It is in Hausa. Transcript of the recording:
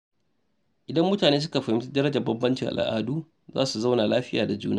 Idan mutane suka fahimci darajar bambancin al’adu, za su zauna lafiya da juna.